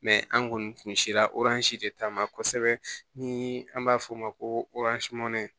an kɔni kun sera de ta ma kosɛbɛ ni an b'a f'o ma ko